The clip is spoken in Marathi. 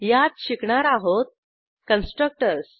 यात शिकणार आहोत कन्स्ट्रक्टर्स